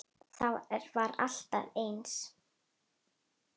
Það var alltaf eins.